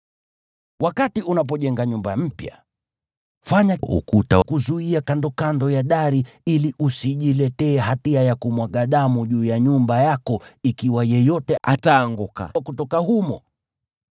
Wakati unapojenga nyumba mpya, fanya ukuta wa kuzuia kandokando ya dari ili usijiletee hatia ya kumwaga damu juu ya nyumba yako ikiwa yeyote ataanguka kutoka humo.